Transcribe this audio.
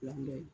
Labilali